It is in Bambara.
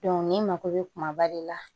ni mako bɛ kumaba de la